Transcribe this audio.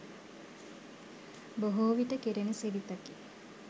බොහෝ විට කෙරෙන සිරිතකි